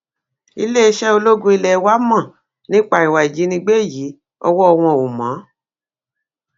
iléeṣẹ ológun ilé wa mọ nípa ìwà ìjínigbé yìí ọwọ wọn ò mọ